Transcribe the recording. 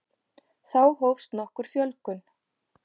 Þá hófst nokkur fjölgun.